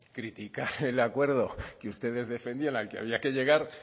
criticar el acuerdo que ustedes defendían al que había que llegar